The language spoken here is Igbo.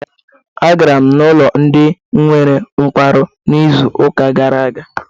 Agara m n'ụlọ ndị nwere nkwarụ na izuka gara aga.